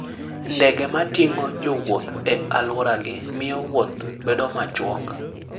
Ndege ma ting'o jowuoth e alworagi miyo wuoth bedo machuok.